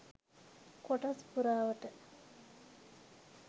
කොටස් පුරාවට